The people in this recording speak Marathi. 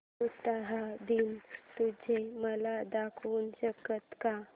उटाहा दिन तुम्ही मला दाखवू शकता का